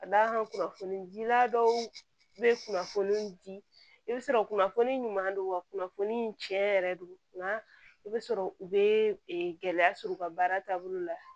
Ka d'a kan kunnafoni dila dɔw be kunnafoni di i bi sɔrɔ kunnafoni ɲuman don wa kunnafoni tiɲɛ yɛrɛ don nka i bɛ sɔrɔ u bɛ gɛlɛya sɔrɔ u ka baara taabolo la